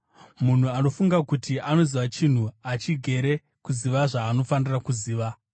Munhu anofunga kuti anoziva chinhu achigere kuziva zvaanofanira kuziva.